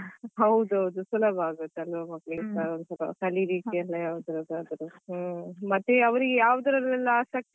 ಹೌದು ಹೌದು ಸುಲಭ ಆಗುತ್ತೆ ಅಲ್ವಾ ಮಕ್ಕಳಿಗೆಸ ಕಲೀಲಿಕ್ಕೆ ಎಲ್ಲ ಮತ್ತೆ ಅವ್ರಿಗೆ ಯಾವುದ್ರಲೆಲ್ಲ ಆಸಕ್ತಿ ಉಂಟು ಅದೇ.